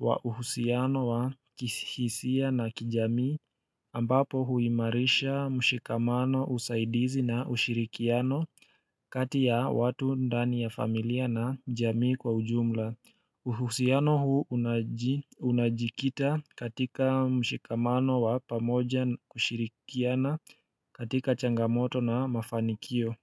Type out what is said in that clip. wa uhusiano wa kihisia na kijamii ambapo huimarisha mshikamano usaidizi na ushirikiano kati ya watu ndani ya familia na jamii kwa ujumla. Uhusiano huu unajikita katika mshikamano wa pamoja na ushirikiano katika changamoto na mafanikio.